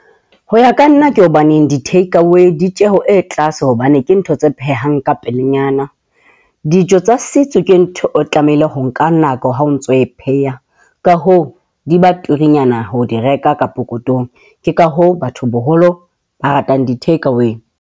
Ho ya ka nna ke hobaneng di-take away ditjeho e tlase hobane ke ntho tse phehang ka pelenyana. Dijo tsa setso ke ntho o tlamehile ho nka nako ha o ntso o e pheha ka hoo di ba turunyana ho di reka ka pokothong. Ke ka hoo batho boholo ba ratang di-take away.